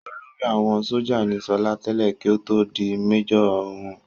Olórí àwọn sójà ní sọlá tẹ́lẹ̀ kí ó tó di méjọ̀ wọn